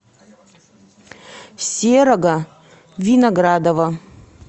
серого виноградова